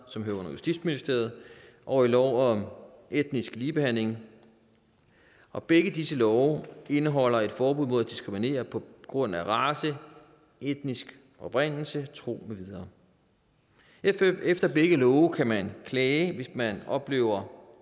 som hører under justitsministeriet og i lov om etnisk ligebehandling og begge disse love indeholder et forbud mod at diskriminere på grund af race etnisk oprindelse tro med videre efter begge love kan man klage hvis man oplever